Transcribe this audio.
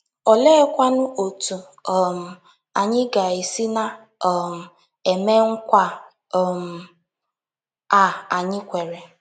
Oleekwanụ otu um anyị ga - esi na um - eme nkwa um a anyị kwere?